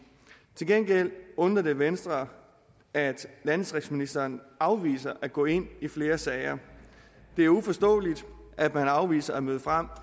til gengæld undrer det venstre at landdistriktsministeren afviser at gå ind i flere sager det er uforståeligt at man afviser at møde frem